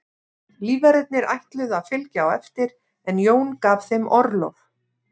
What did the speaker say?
Lífverðirnir ætluðu að fylgja á eftir en Jón gaf þeim orlof.